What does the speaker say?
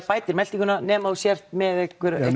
bæti meltinguna nema þú sért með einhverja